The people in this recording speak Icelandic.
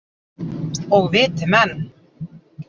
Og viti menn.